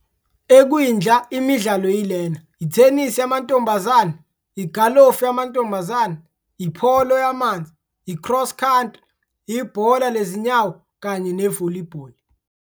Ekwindla, imidlalo yilena - Ithenisi Yamantombazane, Igalofu Yamantombazane, Ipolo Yamanzi, I-Cross Country, Ibhola Lezinyawo, kanye ne-Volleyball.